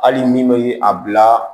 Hali min bɛ a bila